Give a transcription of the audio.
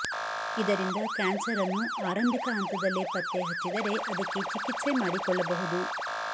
ಇದರಿಂದ ಕ್ಯಾನ್ಸರ್ ಅನ್ನು ಆರಂಭಿಕ ಹಂತದಲ್ಲೇ ಪತ್ತೆ ಹಚ್ಚಿದರೆ ಅದಕ್ಕೆ ಚಿಕಿತ್ಸೆ ಮಾಡಿಕೊಳ್ಳಬಹುದು